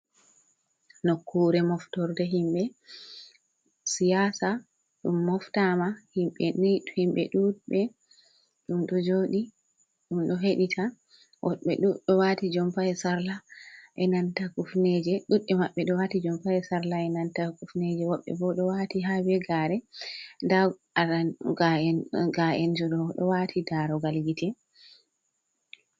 Nokkure moftorde himɓe siyasa ɗum moftama himɓe duɗɓe ɗum ɗo joɗi ɗum ɗo heɗita woɓɓe ɗuɗɗe wati jompa e sarla e nanta kufneje duɗɓe maɓɓe ɗo wati jompa e sarla e nanta kufneje woɓɓe bo ɗo wati har be gare nda ga’enjo ɗo wati darogal gite.